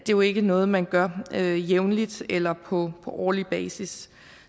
jo ikke noget man gør jævnligt eller på årlig basis